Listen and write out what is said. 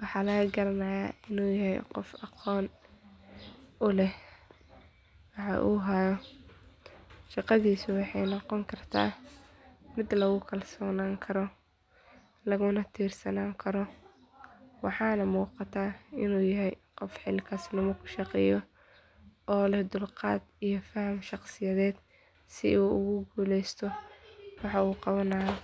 waxaa laga garanaaya inuu yahay qof aqoon uleh waxa uu haayo, shaqadiisa waxeey noqon kartaa mid lagu kalsoonan Karo, laguna tursanaan karo waxaana muuqataa inuu yahay qof xil kasnimo ku shaqeeyo oo leh dulqaad iyo fahan shaqsiyadeed, si uu ugu guleesto waxa uu qabanaayo.